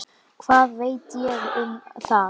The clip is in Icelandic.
Hvað veit ég um það?